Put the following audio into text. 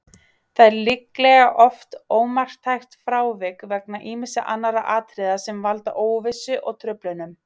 Það er líklega oft ómarktækt frávik vegna ýmissa annarra atriða sem valda óvissu og truflunum.